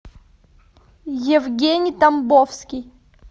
евгений тамбовский